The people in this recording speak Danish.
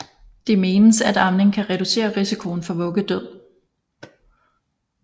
Det menes at amning kan reducere risikoen for vuggedød